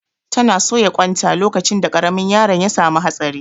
Ta na soya ƙwan ta lokacin da ƙaramin yaron ya samu hatsari